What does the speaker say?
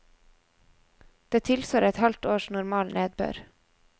Det tilsvarer et halvt års normal nedbør.